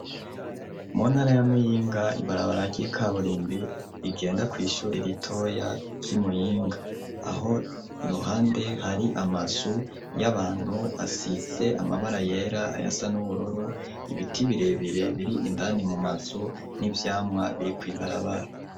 Mu ntara ya Muyinga ibarabara ry'ikaburimbi rigenda kw'ishuri ritoya ry'i Muyinga, aho iruhande hari amazu y'abantu asize amabara yera, ayasa n'ubururu, ibiti birebire biri indani mu mazu n'ivyamwa biri kw'ibarabara.